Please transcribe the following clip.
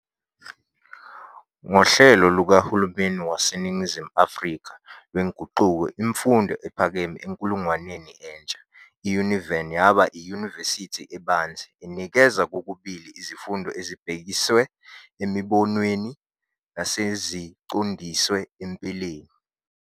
Ngohlelo lukahulumeni waseNingizimu Afrika lwenguquko Imfundo ephakeme enkulungwaneni entsha, i-Univen yaba "iyunivesithi ebanzi", enikeza kokubili izifundo ezibhekiswe emibonweni naseziqondiswe empeleni.